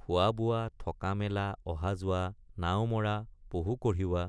খোৱাবোৱা থকামেলা অহাযোৱা নাওমৰাপহু কঢ়িওৱা